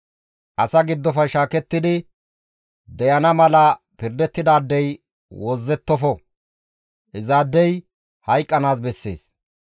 « ‹Asa giddofe shaakettidi deyana mala pirdettidaadey wozzettofo; izaadey hayqqanaas bessees.